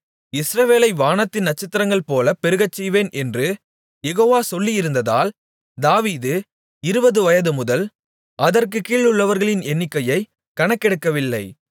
இஸ்ரவேலை வானத்தின் நட்சத்திரங்கள்போல பெருகச்செய்வேன் என்று யெகோவா சொல்லியிருந்ததால் தாவீது இருபது வயதுமுதல் அதற்குக் கீழுள்ளவர்களின் எண்ணிக்கையைக் கணக்கெடுக்கவில்லை